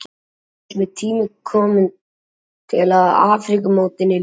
Núna finnst mér tími kominn til að Afríkumótinu ljúki.